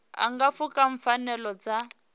a nga pfuka pfanelo dza